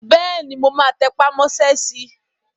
Bẹ́ẹ̀ni, mo máa tẹpà mọ́ sẹ́ si